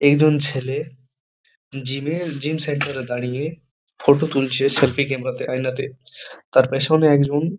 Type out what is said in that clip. একজন ছেলে-এ জিম -এ জিম সেন্টার -এ দাঁড়িয়ে ফটো তুলছে সেল্ফি ক্যামেরা -তে আইনাতে তার পেছনে একজন--